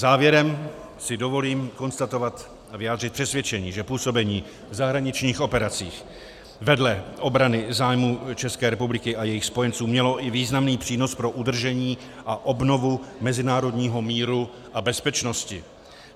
Závěrem si dovolím konstatovat a vyjádřit přesvědčení, že působení v zahraničních operacích vedle obrany zájmů České republiky a jejích spojenců mělo i významný přínos pro udržení a obnovu mezinárodního míru a bezpečnosti.